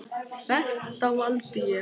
Þetta valdi ég.